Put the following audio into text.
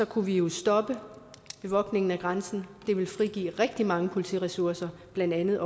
kunne vi jo stoppe bevogtningen af grænsen det ville frigive rigtig mange politiressourcer blandt andet